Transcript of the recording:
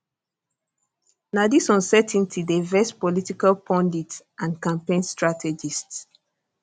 na dis uncertainty dey vex political pundits and campaign strategists